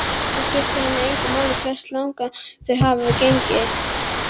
Það skiptir hana engu máli hversu langt þau hafa gengið.